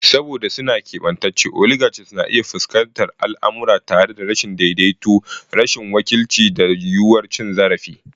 Saboda suna keɓantacce, oligarchies na iya fuskantar al'amura tare da rashin daidaituwa, rashin wakilci, da yiwuwar cin zarafi.